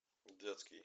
детский